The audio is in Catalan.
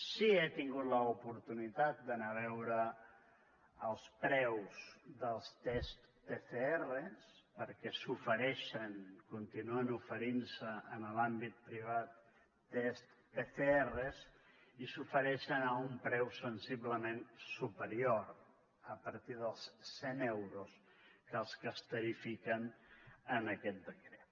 sí que he tingut l’oportunitat d’anar a veure els preus dels tests pcrs perquè s’ofereixen continuen oferint se en l’àmbit privat tests pcrs i s’ofereixen a un preu sensiblement superior a partir dels cent euros dels que es tarifiquen en aquest decret